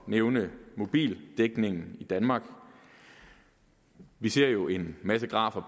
nævne mobildækningen i danmark vi ser jo en masse grafer